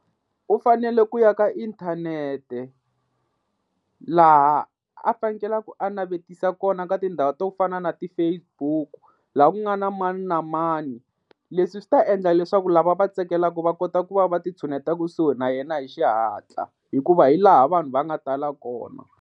U fanele ku ya ka inthanete laha a fanekelaka a navetisa kona ka tindhawu to fana na ti-Fcebook laha ku nga na mani na mani leswi swi ta endla leswaku lava va tsakelaka va kota ku va va ti tshuneta kusuhi na yena hi xihatla hikuva hi laha vanhu va nga tala kona.